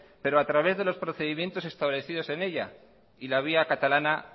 pero a través de los procedimientos establecidos en ella y la vía catalana